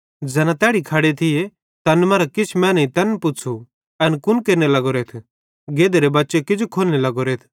ज़ैना तैड़ी खड़े थिये तैन मरां किछ मैनेईं तैन पुच़्छ़ू एन कुन केरने लग्गोरेथ गधेरे बच्चे किजो खोलने लग्गोरेथ